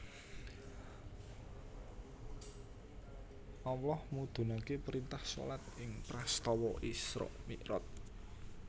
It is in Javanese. Allah mudhunake printah shalat ing prastawa Isra Miraj